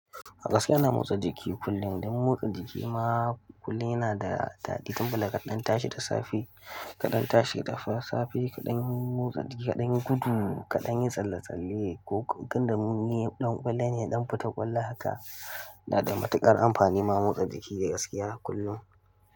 Gaskiya ina motsa jiki kullum. Don motsa jiki ma kullum yana da daɗi, kamar kada an tashi da safe, kaɗan tashi da safe, kaɗan motsa jiki, kaɗan gudu, kaɗan yin tsalle-tsalle ko tunda mun ni ɗan ƙwallon ne, ɗan futa ƙwallo haka. Na da matuƙar amfani ma motsa jiki da gaskiya kullum.